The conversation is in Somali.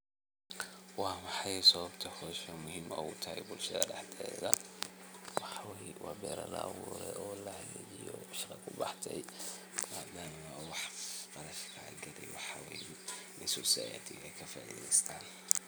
Wamaxay sababta howshani ay muhim utahay bulshada daxdeeda waxa weyi beera laaburay e lahagajio o shaqa kubaxday waxa weyi ay Sosayatiga ay ka faaideystan.